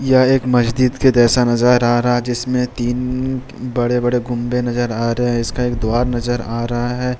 यह एक मस्जिद के जैसा नजर आ रहा है जिसमें तीन बड़े बड़े गुम्बे (गुम्बद) नजर आ रहे हैं इसका एक द्वार नजर आ रहा है।